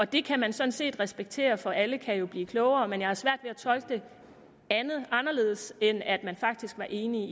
det kan man sådan set respektere for alle kan jo blive klogere men jeg har svært ved at tolke det anderledes end at man faktisk var enige